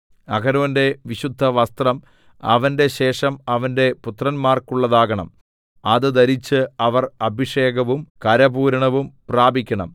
അഹരോന്റെ വിശുദ്ധവസ്ത്രം അവന്റെ ശേഷം അവന്റെ പുത്രന്മാർക്കുള്ളതാകണം അത് ധരിച്ച് അവർ അഭിഷേകവും കരപൂരണവും പ്രാപിക്കണം